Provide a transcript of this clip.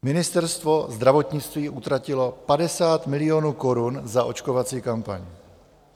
Ministerstvo zdravotnictví utratilo 50 milionů korun za očkovací kampaň.